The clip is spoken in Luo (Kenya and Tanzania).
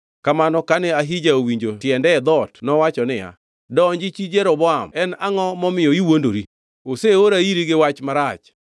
Kamano kane Ahija owinjo tiende e dhoot nowacho niya, “Donji, chi Jeroboam. En angʼo momiyo iwuondori? Oseora iri gi wach marach.